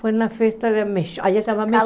Foi na festa da mexo, aí se chama